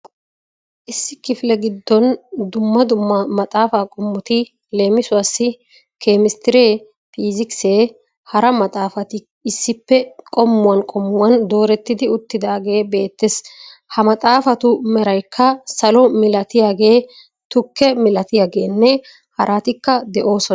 Issi kifile gidon dumma dumma maxaafa qomotti leemisuwaasi kemistree, piysikisenne hara maxaafatti issippe qommuwan qommuwan doorettidi uttidaagee beettees. Ha maxaafatu meraykka salo milattiyagee, tukke milattiyageenne haratikka de'oosona.